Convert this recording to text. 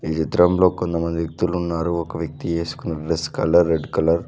ఈ చిత్రం లో కొంతమంది వ్యక్తిలు ఉన్నారు ఒక వ్యక్తి వేస్కున్నా డ్రెస్ కలర్ రెడ్ కలర్ .